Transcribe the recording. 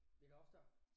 Lidt oftere